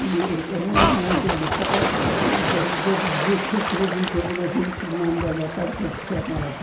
E uma mandou-me mandou-me dizer se queria vir para o Brasil, que me mandava a carta de chamada.